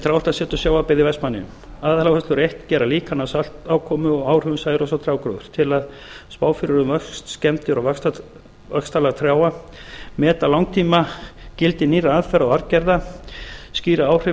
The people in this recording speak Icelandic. trjáræktarseturs sjávarbyggða í vestmannaeyjum aðaláherslur fyrstu gera líkan af saltákomu og áhrifum særoks á trjágróður til að a spá fyrir um vöxt skemmdir og vaxtarlag trjáa b meta langtímagildi nýrra aðferða og arfgerða c skýra áhrif